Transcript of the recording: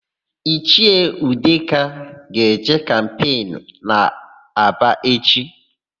Ichie Udeka ga-eje kampenu n'Aba echi.